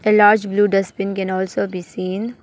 A large blue dustbin can also be seen.